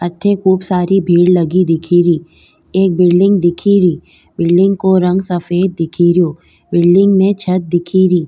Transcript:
अठे खूब सारी भीड़ लगी दिखेरी एक बिल्डिंग दिखेरी बिल्डिंग को रंग सफेद दिख रियो बिल्डिंग में छत दिखेरी।